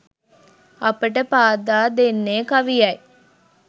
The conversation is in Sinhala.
අපට පාදා දෙන්නේ කවියයි.